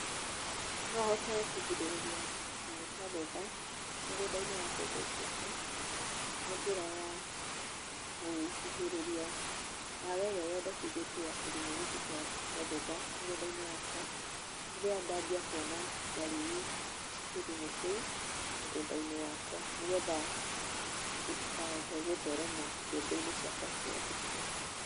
No hote kũgirĩrĩria kĩgunyũ kĩa ngũnga mũgũnda-inĩ wa mbembe cĩakwa na njĩra ya kũhuhĩrĩria ndawa ĩrĩa yendĩkithĩtio ya kĩgunyũ gikĩ kĩa ngũnga mũgũnda-inĩ wakwa rĩrĩa ndambia kuona dariri cia kĩgunyũ kĩu mũgũnda-inĩ wakwa nĩgetha gĩtikahote gũtherema mbembe-inĩ cĩakwa ciothe.